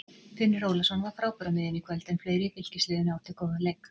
Finnur Ólafsson var frábær á miðjunni í kvöld en fleiri í Fylkisliðinu áttu góðan leik.